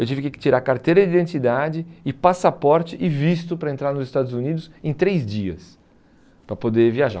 Eu tive que tirar carteira de identidade e passaporte e visto para entrar nos Estados Unidos em três dias, para poder viajar.